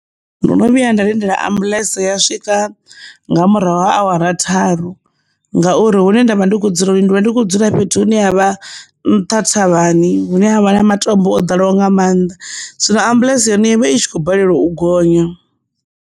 Ndo no vhuya nda lindela ambulance ya swika nga murahu ha awara tharu ngauri huṋe ndavha ndi kho dzula ndivha ndi kho dzula fhethu hune ha vha nṱha thavhani hune havha na matombo o dalelwa nga mannḓa siho ambuḽentse hone ivha i tshi khou balelwa u gonya.